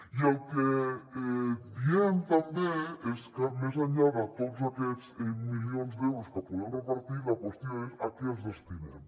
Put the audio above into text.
i el que diem també és que més enllà de tots aquests milions d’euros que podem repartir la qüestió és a què els destinem